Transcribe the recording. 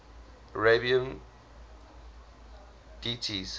arabian deities